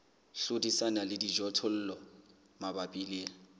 hlodisana le dijothollo mabapi le